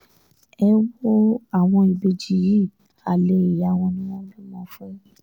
ẹ um wo àwọn ìbejì yìí alẹ́ ìyá wọn um ni wọ́n bímọ fún